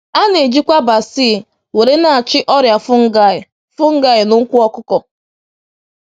A na-ejikwa basil were na-achị ọrịa fungi fungi n’ụkwụ ọkụkọ